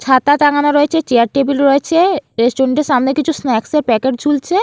ছাতা টাঙানো রয়েছে চেয়ার টেবিল রয়েছে রেস্টুরেন্ট -টির সামনে কিছু স্ন্যাক্স -এর প্যাকেট ঝুলছে।